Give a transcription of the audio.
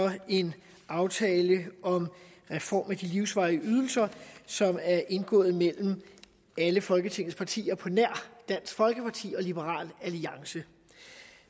og en aftale om en reform af de livsvarige ydelser som er indgået af alle folketingets partier på nær dansk folkeparti og liberal alliance